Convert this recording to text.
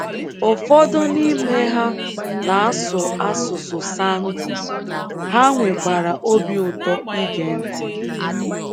Ụfọdụ n’ime ha na - asụ asụsụ Sango, ha nwekwara obi ụtọ ige ntị.